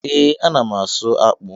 Ee, a na m ásụ́ ákpụ́